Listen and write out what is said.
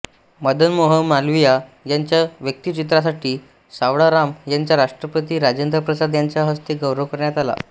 मदन मोहन मालवियां यांच्या व्यक्तिचित्रासाठी सावळाराम यांचा राष्ट्रपती राजेन्द्रप्रसाद यांच्या हस्ते गौरव करण्यात आला